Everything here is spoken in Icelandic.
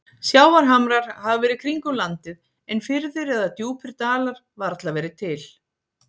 Sjávarhamrar hafa verið kringum landið, en firðir eða djúpir dalir varla verið til.